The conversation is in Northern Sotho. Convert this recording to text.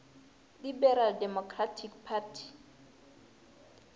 liberal democratic party